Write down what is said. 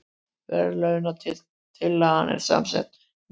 Verðlaunatillagan er samsett mynd